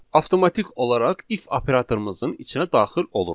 avtomatik olaraq if operatorumuzun içinə daxil oluruq.